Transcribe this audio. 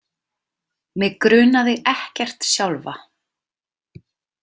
Mig grunaði ekkert sjálfa.